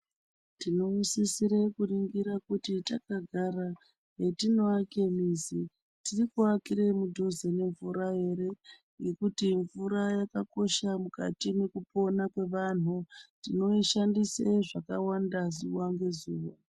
Tinoisisire kuningira kuti takagara, mwetinoake mizi, tiri kuakire mudhuze nemvura ere ,ngekuti mvura yakakosha mukati mwekupona kwevanhu. Tinoishandise zvakawanda zuwa ngezuwa.